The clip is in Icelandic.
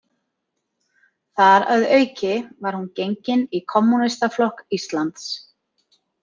Þar að auki var hún gengin í Kommúnistaflokk Íslands.